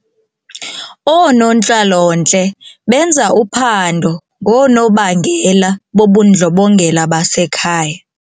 Oonontlalontle benza uphando ngoonobangela bobundlobongela basekhaya.